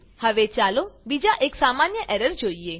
હવે ચાલો બીજા એક સામાન્ય એરર જોઈએ